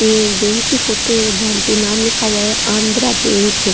एक बैंक की फोटो है जहा पे नाम लिखा हुआ है आंध्रा बैंक ।